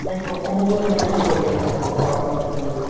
like অসমটো এনেকাকে problem আছে, খোৱা পানী কিনিব লাগে।